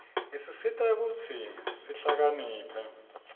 isisita kutsi sihlakaniphe